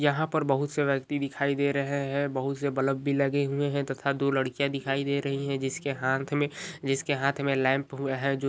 यहाँ पर बहोत से वयक्ति दिखाई दे रहे है बहुत से बलब भी लगे हुए है तथा दू लड़कियाँ दिखाई दे रही है जिसके हाथ में जिसके हाथ में लैंप हूँ है।